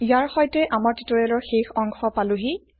ইয়াৰ সৈতে আমাৰ টিউটৰিয়েলৰ শেষ অংশ পালোহি